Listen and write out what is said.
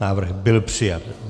Návrh byl přijat.